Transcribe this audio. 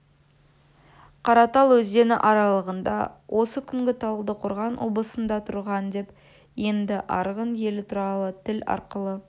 қаратал өзені аралығында осы күнгі талдықорған облысында тұрған деп енді арғын елі туралы тіл арқылы